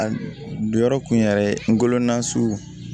A jɔyɔrɔ kun yɛrɛ ngolo na su